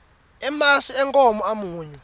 emasi enkhomo amunyu